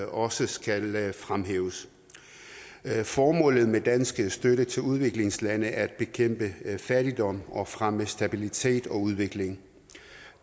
også skal fremhæves formålet med dansk støtte til udviklingslande er at bekæmpe fattigdom og fremme stabilitet og udvikling